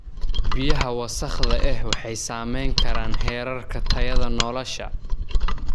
Biyaha wasakhda ah waxay saameyn karaan heerarka tayada nolosha.